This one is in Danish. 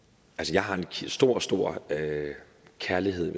jeg har en stor stor kærlighed